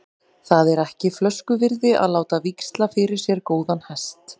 Það er ekki flösku virði að láta víxla fyrir sér góðan hest.